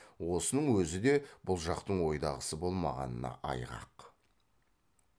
осының өзі де бұл жақтың ойдағысы болмағанына айғақ